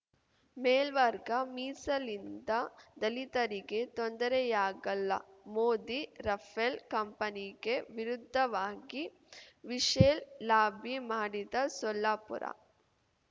ಮೇಲ್ವರ್ಗ ಮೀಸಲಿಂದ ದಲಿತರಿಗೆ ತೊಂದರೆಯಾಗಲ್ಲ ಮೋದಿ ರಫೇಲ್‌ ಕಂಪನಿಗೆ ವಿರುದ್ಧವಾಗಿ ವಿಶೆಲ್‌ ಲಾಬಿ ಮಾಡಿದ್ದ ಸೊಲ್ಲಾಪುರ